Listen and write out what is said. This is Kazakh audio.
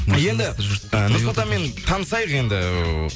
енді і нұрсұлтанмен танысайық енді